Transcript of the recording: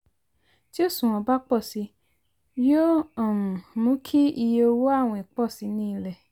tí òṣùwọ̀n bá pọ si yóò um mú kí iye owó àwìn pọ si ní ilẹ.